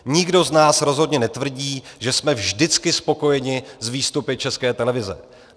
Nikdo z nás rozhodně netvrdí, že jsme vždycky spokojeni s výstupy České televize.